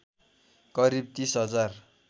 करिब ३० हजार